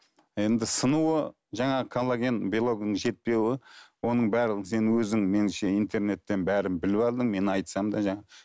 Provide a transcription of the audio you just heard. енді сынуы жаңағы коллаген белогының жетпеуі оның барлығын сен өзің меніңше интернеттен бәрін біліп алдың мен айтсам да жаңағы